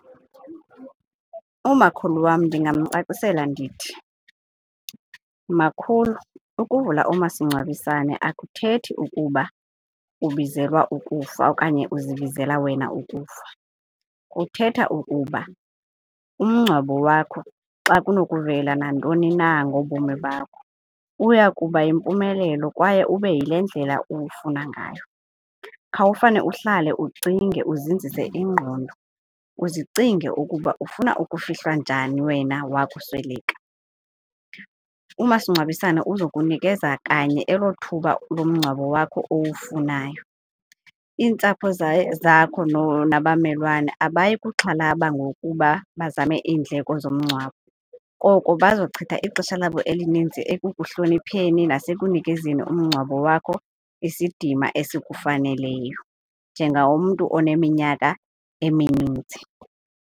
Umakhulu wam ndingamcacisela ndithi, makhulu ukuvula umasingcwabisane akuthethi ukuba ubizelwa ukufa okanye uzibizela wena ukufa. Kuthetha ukuba umngcwabo wakho xa kunokuvela nantoni na ngobomi bakho uya kuba yimpumelelo kwaye ube yile ndlela uwufuna ngayo. Khawufane uhlale ucinge uzinzise ingqondo uzicinge ukuba ufuna ukufihlwa njani wena wakusweleka. Umasingcwabisane uzawukunikeza kanye elo thuba lomngcwabo wakho owufunayo, iintsapho zakho nabamelwane abayi kuxhalaba ngokuba bazame iindleko zomngcwabo. Koko bazochitha ixesha labo elininzi ekuhlonipheni nasekunikezeni umngcwabo wakho isidima esikufaneleyo njengomntu oneminyaka emininzi.